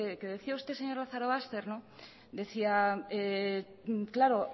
que decía usted señor lazarobaster decía claro